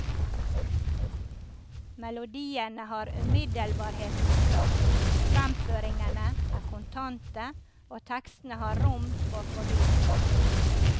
Melodiene har umiddelbarhetens kraft, fremføringene er kontante og tekstene har rom for fordypning.